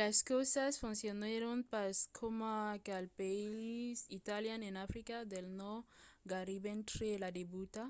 las causas foncionèron pas coma cal pels italians en africa del nòrd gaireben tre la debuta.